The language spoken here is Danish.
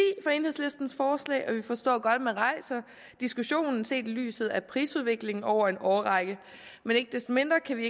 for enhedslistens forslag og vi forstår godt at man rejser diskussionen set i lyset af prisudviklingen over en årrække men ikke desto mindre kan vi